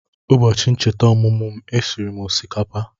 Ụbọchị ncheta ọmụmụ m, e siri m osikapa